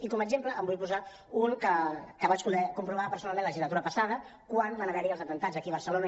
i com a exemple en vull posar un que vaig poder comprovar personalment la legislatura passada quan van haver hi els atemptats aquí a barcelona